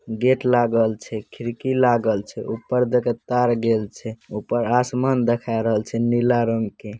गेट लागल छे खिड़की लागल छे ऊपर देख तार गेल छै ऊपर आसमान दिखाई रहल छै नीला रंग के |